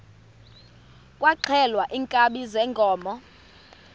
kwaxhelwa iinkabi zeenkomo